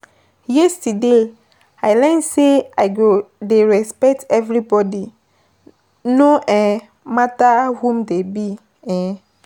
Yesterday, I learn sey I go dey respect everybodi no um matter who dem be[uh]